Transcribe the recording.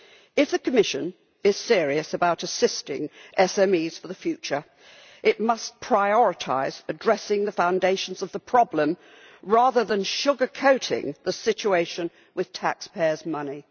If the Commission is serious about assisting SMEs for the future, it must prioritise addressing the foundations of the problem rather than sugarcoating the situation with taxpayers' money.